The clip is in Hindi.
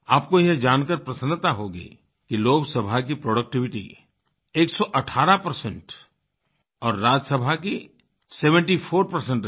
आपको यह जानकर प्रसन्नता होगी कि लोकसभा की प्रोडक्टिविटी 118 और राज्यसभा की 74 रही